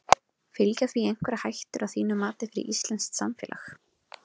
Fylgja því einhverjar hættur að þínu mati fyrir íslenskt samfélag?